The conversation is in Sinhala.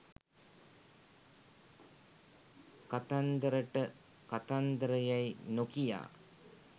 කතන්දරට කතන්දර යැයි නොකියා